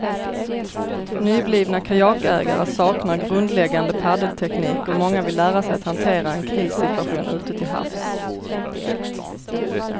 Nyblivna kajakägare saknar grundläggande paddelteknik och många vill lära sig att hantera en krissituation ute till havs.